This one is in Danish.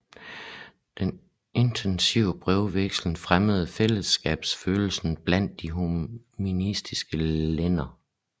Den intensive brevvekslen fremmede fællesskabsfølelsen blandt de humanistiske lærde